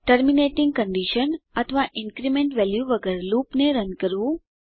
terminating condition અથવા increment value વગર લૂપને રન કરવું